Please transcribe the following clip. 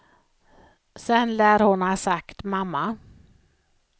Sen lär hon ha sagt mamma.